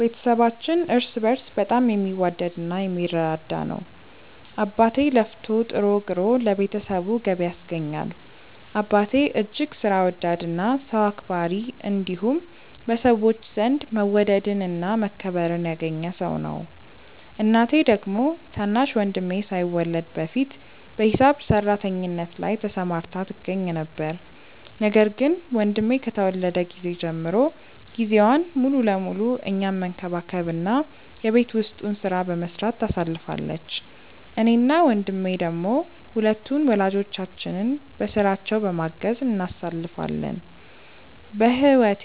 ቤተሰባችን እርስ በእርስ በጣም የሚዋደድ እና የሚረዳዳ ነው። አባቴ ለፍቶ ጥሮ ግሮ ለቤተሰቡ ገቢ ያስገኛል። አባቴ እጅግ ሥራ ወዳድ እና ሰው አክባሪ እንዲሁም በሰዎች ዘንድ መወደድን እና መከበርን ያገኘ ሰው ነው። እናቴ ደግሞ ታናሽ ወንድሜ ሳይወለድ በፊት በሂሳብ ሰራተኝነት ላይ ተሰማርታ ትገኛ ነበር፤ ነገር ግን ወንድሜ ከተወለደ ጊዜ ጀምሮ ጊዜዋን ሙሉ ለሙሉ እኛን መንከባከብ እና የቤት ውስጡን ሥራ በመስራት ታሳልፋለች። እኔ እና ወንድሜ ደሞ ሁለቱን ወላጆቻችንን በሥራቸው በማገዝ እናሳልፋለን። በህወቴ